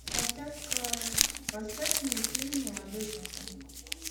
поставь ка поставь мне фильм молодой папа